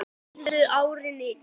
Dýfði árinni djúpt.